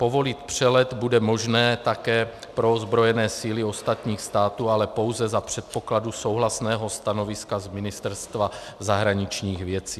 Povolit přelet bude možné také pro ozbrojené síly ostatních států, ale pouze za předpokladu souhlasného stanoviska z Ministerstva zahraničních věcí.